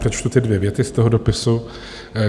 Přečtu ty dvě věty z toho dopisu.